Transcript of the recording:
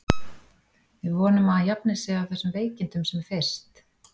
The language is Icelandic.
Við vonum að hann jafni sig af þessum veikindum sem fyrst.